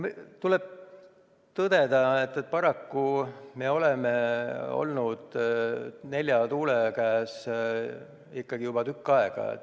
Tuleb tõdeda, et paraku oleme olnud nelja tuule käes juba tükk aega.